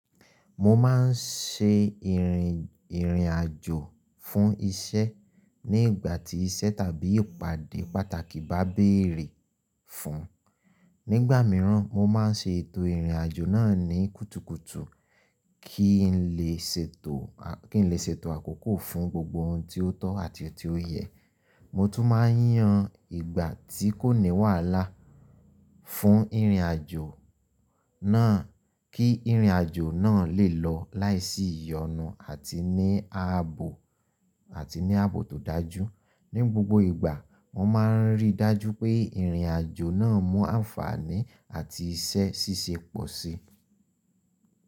Mo máa ń ṣe ìrìn ìrìn àjò fún iṣẹ́ ní ìgbà tí iṣẹ́ tàbí ìpàdé pàtàkì bá bere fún un. Nígbà mìíràn, mo máa ń ṣe ètò ìrìn àjò náà ní kùtùkùtù kí n lè ṣètò a kí n lè ṣètò àkókò fún gbogbo ohun tí ó tọ́ àti ohun tí ó yẹ. Mo tún máa ń yan ìgbà tí kò ní wàhálà fún ìrìn àjò náà kí ìrìn àjò náà lè lọ láìsí ìyọnu àti ní ààbò àti ní ààbò tó dájú. Ní gbogbo ìgbà, mo máa ń rí i dájú pé ìrìn àjò náà mú àǹfààní àti iṣẹ́ ṣíṣe pọ̀ sí.